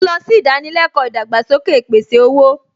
Mo lọ sí ìdánilẹ́kọ̀ọ́ ìdàgbàsókè ìpèsè-owó